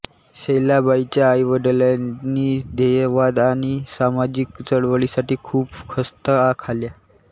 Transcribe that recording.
शैलाबाईंच्या आईवडिलांनी ध्येयवाद आणि सामाजिक चळवळीसाठी खूप खस्ता खाल्या